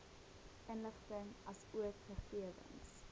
inligting asook gegewens